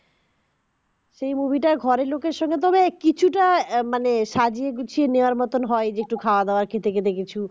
সেই movie টা ঘরের লোকের সঙ্গে তবে কিছুটা মানে সাজিয়ে গুছিয়ে নেওয়ার মতোন হয় যেটা খাওয়াদাওয়া খেতে খেতে দেখি